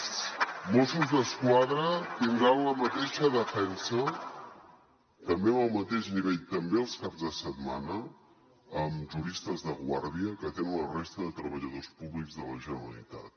els mossos d’esquadra tindran la mateixa defensa també en el mateix nivell també els caps de setmana amb juristes de guàrdia que tenen la resta de treballadors públics de la generalitat